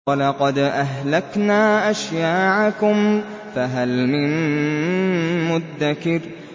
وَلَقَدْ أَهْلَكْنَا أَشْيَاعَكُمْ فَهَلْ مِن مُّدَّكِرٍ